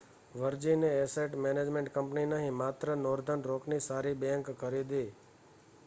વર્જિને asset management company નહીં માત્ર Northern રોકની સારી બેંક' ખરીદી